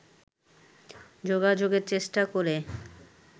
যোগাযোগের চেষ্টা করে